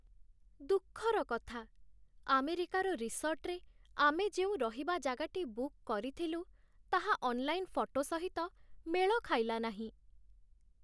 ଦୁଃଖର କଥା, ଆମେରିକାର ରିସର୍ଟରେ ଆମେ ଯେଉଁ ରହିବା ଜାଗାଟି ବୁକ୍ କରିଥିଲୁ, ତାହା ଅନ୍‌ଲାଇନ୍ ଫଟୋ ସହିତ ମେଳ ଖାଇଲା ନାହିଁ।